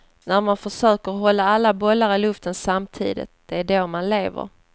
När man försöker hålla alla bollar i luften samtidigt, det är då man lever.